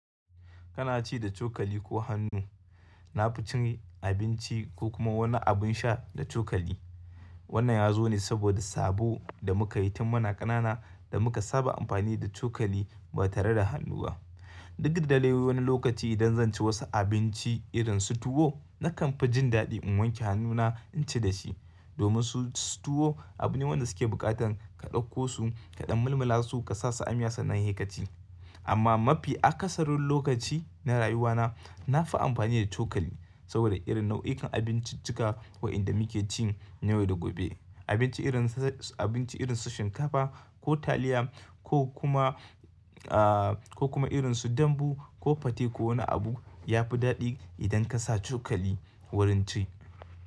Kana ci da cokali ko hannu? Na fi cin abinci ko kuma wani abin sha da cokali. Wannan yazo ne saboda sabo da muka yi tun muna ƙanana da muka saba amfani da cokali ba tare da hannu ba. Duk da dai wani lokaci idan zan ci wasu abinci irin su tuwo nakan fi jin daɗi in wanke hannuna in ci dashi, domin su tuwo abu ne wanda suke buƙatar ka ɗauko su kaɗan mulmula su ka sa su a miya sannan se kaci. Amma mafi akasarin lokaci na rayuwana nafi amfani da cokali saboda irin nau'ikan abinciccika wa inda muke cin na yau da gobe. Abinci irin su, abinci irin su shinkafa ko taliya ko kuma ko kuma irin su dambu ko fate ko wani abu yafi daɗi idan ka sa cokali wurin ci.